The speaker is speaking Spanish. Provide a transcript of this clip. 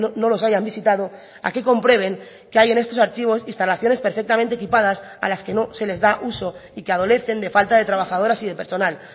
no los hayan visitado a que comprueben que hay en estos archivos instalaciones perfectamente equipadas a las que no se les da uso y que adolecen de falta de trabajadoras y de personal